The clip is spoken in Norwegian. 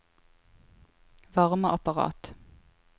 varmeapparat